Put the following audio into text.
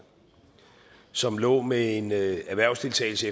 som lå med en erhvervsdeltagelse